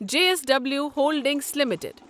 J S W holdings limited